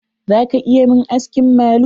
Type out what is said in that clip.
Za ka iya mun aski malu?